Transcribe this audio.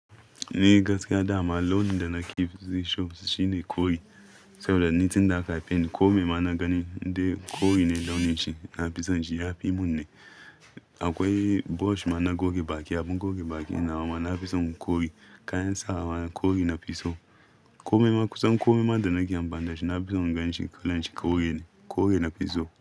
Ni gaskiya dama, launin da na ke fi so shine kore. Saboda ni tinda aka haifeni, kome ma na gani, indai kore ne launin shi, na fi son shi. Ya fi mun ne. Akwai brush ma na goge baki, abun goge baki nawa ma na fi son kore. Kayan sawa kore na fi so. Kome ma kusan kome ma da na ke amfani da shi na fi son ganshi kalan shi kore ne. Kore na fi so.